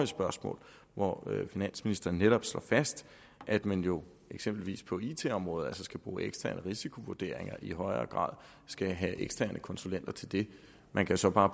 spørgsmål hvor finansministeren netop slår fast at man jo eksempelvis på it området skal bruge eksterne risikovurderinger og i højere grad skal have eksterne konsulenter til det man kan så bare